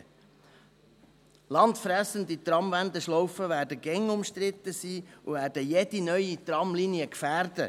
» Land fressende Tramwendeschlaufen werden stets umstritten sein und jede neue Tramlinie gefährden.